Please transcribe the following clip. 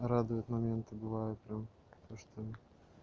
радует моменты бывают прям то что